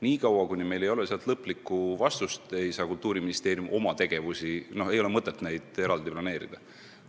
Nii kaua, kuni meil ei ole sealt lõplikku vastust, ei ole Kultuuriministeeriumil mõtet oma sellekohast tegevust planeerida.